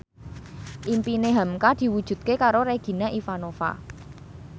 impine hamka diwujudke karo Regina Ivanova